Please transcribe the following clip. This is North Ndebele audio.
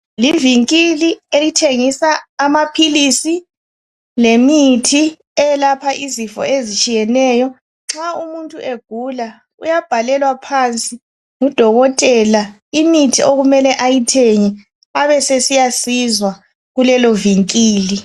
ivinkili amaphilisi lemithi eyelapha izifo ezitshiyeneyo nxa umuntu egula uyabhalelwa phansi ngu dokotela imithi okumele ayithenge abesesiyasizwa kulelovinkili